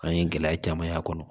An ye gɛlɛya caman y'a kɔnɔ